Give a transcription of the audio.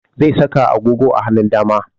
Zai saka agogo a hanun dama